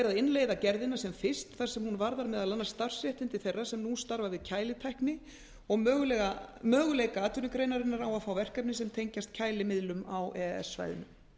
er að innleiða gerðina sem fyrst þar sem hún varðar meðal annars starfsréttindi þeirra sem nú starfa við kælitækni og möguleika atvinnugreinarinnar á að fá verkefni sem tengjast kælimiðlum á e e s svæðinu